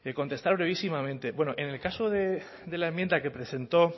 contestar brevísimamente bueno en el caso de la enmienda que presentó